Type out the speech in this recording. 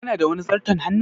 Kana da wani zarton hannun?